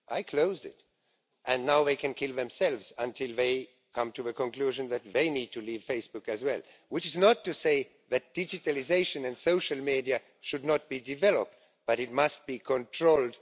I closed it and now they can kill themselves until they come to the conclusion that they need to leave Facebook as well, which is not to say that digitalisation and social media should not be developed but it must be controlled.